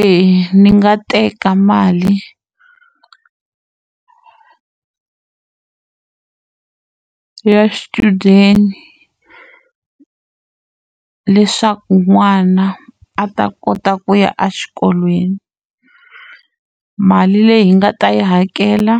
Eya ndzi nga teka mali ya swichudeni leswaku n'wana a ta kota ku ya exikolweni mali leyi hi nga ta yi hakela